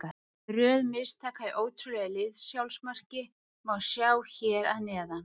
Röð mistaka í ótrúlegu liðs-sjálfsmarki má sjá hér að neðan.